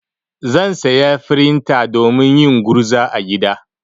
Zan saya frinta domin yin gurza a gida.